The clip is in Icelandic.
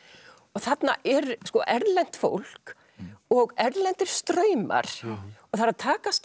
og þarna er erlent fólk og erlendir straumar og það er að takast